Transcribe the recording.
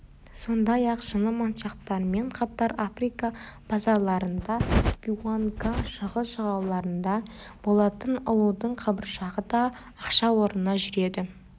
сондай-ақ шыны моншақтармен қатар африка базарларында виуанга шығыс жағалауларында болатын ұлудың қабыршағы да ақша орнына жүреді